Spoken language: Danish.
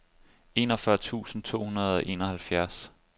enogfyrre tusind to hundrede og enoghalvfjerds